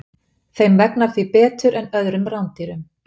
Þeim vegnar því betur en öðrum rándýrum.